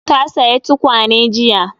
Ta saya tukwane jiya